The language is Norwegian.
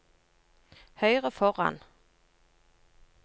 høyre foran